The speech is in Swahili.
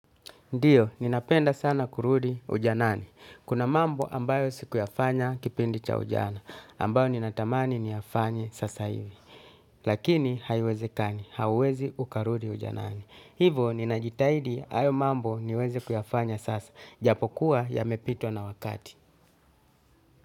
Ndiyo, ninapenda sana kurudi ujanani. Kuna mambo ambayo sikuyafanya kipindi cha ujana, ambayo ninatamani niyafanye sasa hivi. Lakini, haiwezekani, hauwezi ukarudi ujanani. Hivo, ninajitahidi hayo mambo niweze kuyafanya sasa. Japokuwa yamepitwa na wakati.